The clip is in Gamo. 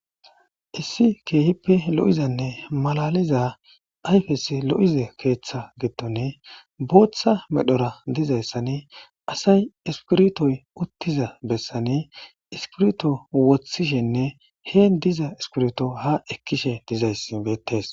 issi keehippe lo'izanne malaliza ayfes lo'ize keeththa gedone booththa medhora dizayssane asay ispirtoy uttiza bessane iskirto wothishenne hee diza iskirto ha ekkishe dizays beettees